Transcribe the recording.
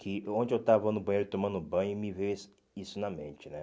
Que onde eu estava no banheiro tomando banho me veio isso isso na mente, né?